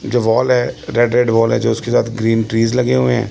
जो वॉल है red red wall है जो उसके साथ ग्रीन ट्रीस लगे हुए हैं।